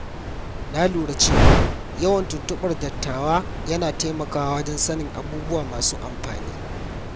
Na lura cewa yawan tuntuɓar dattawa yana taimakawa wajen sanin abubuwa masu amfani.